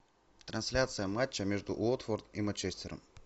трансляция матча между уотфорд и манчестером